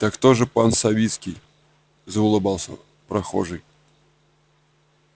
так то же пан свицкий заулыбался прохожий